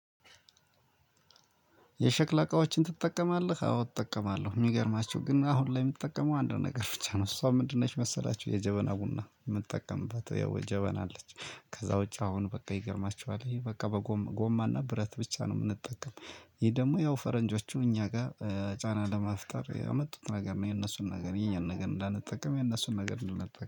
የሸክላ እቃዎችን ትጠቀማለህ? አዎ እጠቀማለሁ። የሚገርማቸው ግን አሁን ላይ የምትጠቀመው አንድ ነገር ብቻ ነው እሷ ምንድን ነች መሰላችሁ? የጀበና ቡና የምጠቀምባት የው ጀበና አለች። ከዛ ውጪ አሁን በቃ ይገርማችኋል ይሄ በቃ በጎማ ጎማና ብረት ብቻ ነው የምንጠቀም። ይሄ ደግሞ ያው ፈረንጆቹ እኛ ጋር ጫና ለምፍጠር ያመጡት ነገር ነው የነሱን ነገር የኛን ነገር እንዳንጠቀም የነሱን ነገር እንድንጠቀም